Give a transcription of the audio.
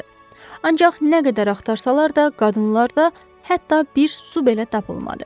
Ancaq nə qədər axtarsalar da, qadınlarda hətta bir qəpik belə tapılmadı.